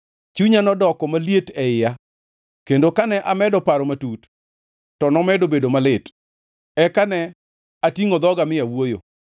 Chunya nodoko maliet e iya kendo kane amedo paro matut, to nomedo bedo malit; eka ne atingʼo dhoga mi awuoyo: